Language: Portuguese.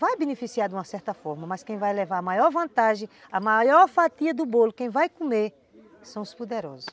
Vai beneficiar de uma certa forma, mas quem vai levar a maior vantagem, a maior fatia do bolo, quem vai comer, são os poderosos.